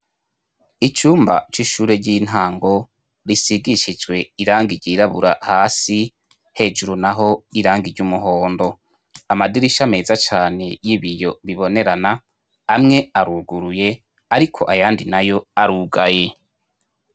Icyumba c'ishure ry'intango risigishijwe iranga iryirabura hasi hejuru naho iranga iry'umuhondo .Amadirisha meza cane y'ibiyo bibonerana amwe aruguruye ariko ayandi nayo arugaye.